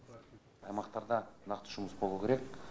аймақтарда нақты жұмыс болуы керек